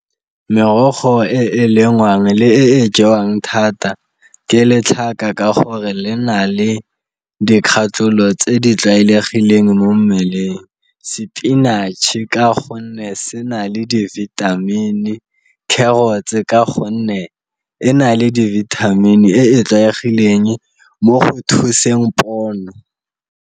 Merogo e e lengwang le e e jewang thata ke letlhaka ka gore le na le dikgatholo tse di tlwaelegileng mo mmeleng, sepinatšhe ka gonne se na le di-vitamin, carrots ka gonne e na le di-vitamin e e tlwaegileng mo go thuseng pono.